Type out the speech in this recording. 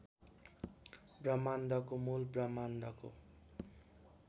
ब्रह्माण्डको मूल ब्रह्माण्डको